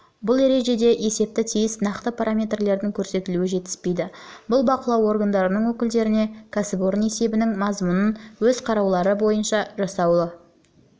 бұл ережеде есепте тиісті нақты параметрлердің көрсетілуі жетіспейді бұл бақылау органдарының өкілдеріне кәсіпорын есебінің мазмұнын өз қараулары бойынша жасауына яғни